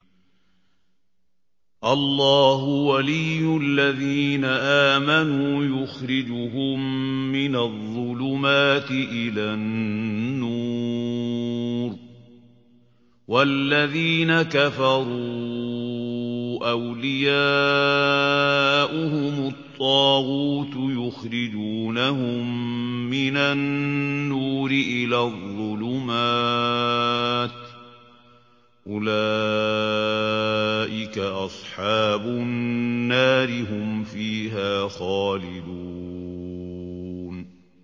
اللَّهُ وَلِيُّ الَّذِينَ آمَنُوا يُخْرِجُهُم مِّنَ الظُّلُمَاتِ إِلَى النُّورِ ۖ وَالَّذِينَ كَفَرُوا أَوْلِيَاؤُهُمُ الطَّاغُوتُ يُخْرِجُونَهُم مِّنَ النُّورِ إِلَى الظُّلُمَاتِ ۗ أُولَٰئِكَ أَصْحَابُ النَّارِ ۖ هُمْ فِيهَا خَالِدُونَ